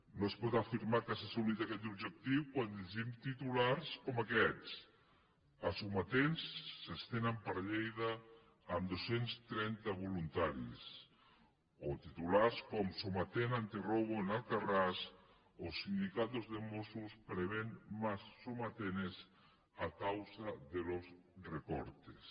no es pot afirmar que s’ha assolit aquest objectiu quan llegim titulars com aquest els sometents s’estenen per lleida amb dos cents i trenta voluntaris o titulars com somatén antirrobo en alcarràs o sindicatos de mossos prevén más somatenes a causa de los recortes